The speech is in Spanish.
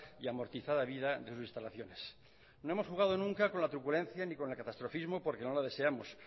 y amortizada vida de sus instalaciones no hemos jugado nunca con la truculencia ni con el catastrofismo porque no la deseamos